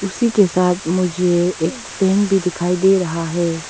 उसी के साथ मुझे एक फ्रेम भी दिखाई दे रहा है।